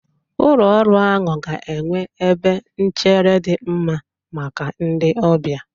Ụlọ ọrụ ahụ ga-enwe ebe nchere dị mma maka ndị ọbịa.